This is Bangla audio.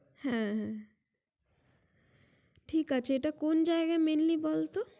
হ্যা হ্যা ঠিক আছে এটা কোন জায়গায় mainly বলতো